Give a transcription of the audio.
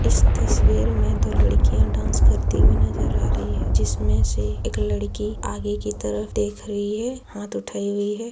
इस तस्वीर मे दो लड़किया डास करती हुई नजर आ रही है जिसमे से इक लड़की आगे की तरफ देख रही है हाथ उठाई हुई है।